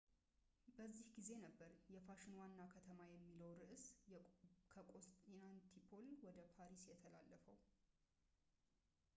በዚህ ጊዜ ነበር የፋሽን ዋና ከተማ የሚለው ርዕስ ከኮንስታንቲኖፕል ወደ ፓሪስ የተላለፈው